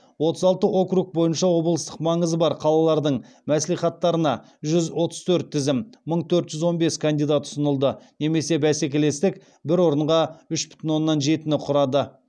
отыз алты округ бойынша облыстық маңызы бар қалалардың мәслихаттарына жүз отыз төрт тізім мың төрт жүз он бес кандидат ұсынылды немесе бәсекелестік бір орынға үш бүтін оннан жетіні құрады